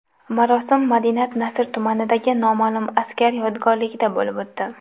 Marosim Madinat-Nasr tumanidagi noma’lum askar yodgorligida bo‘lib o‘tdi.